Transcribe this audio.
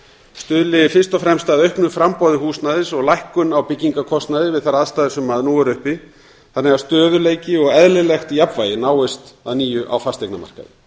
stuðli fyrst og fremst að auknu framboði húsnæðis og lækkun á byggingarkostnaði við þær aðstæður sem nú eru uppi þannig að stöðugleiki og eðlilegt jafnvægi náist að nýju á fasteignamarkaði